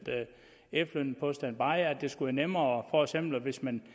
efterlønnen på standby det skulle være nemmere hvis man